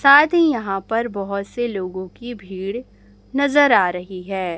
साथ ही यहां पर बहुत से लोगों की भीड़ नजर आ रही है।